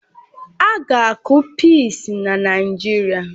A ga-akụ pịịsi na Naijiria